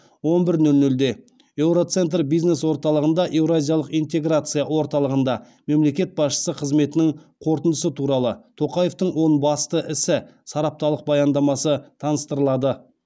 он бір нөл нөлде еуроцентр бизнес орталығында еуразиялық интеграция орталығында мемлекет басшысы қызметінің қорытындысы туралы тоқаевтың он басты ісі сараптамалық баяндамасы таныстырылады